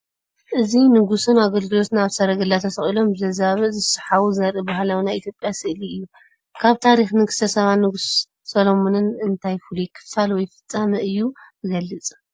እዚ ንጉስን ኣገልገልቱን ኣብ ሰረገላ ተሰቒሎም ብዘዛብእ ዝስሓቡ ዘርኢ ባህላዊ ናይ ኢትዮጵያ ስእሊ እዩ። ካብ ታሪኽ ንግስቲ ሳባን ንጉስ ሰሎሞንን እንታይ ፍሉይ ክፋል ወይ ፍጻመ እዩ ዝገልጽ?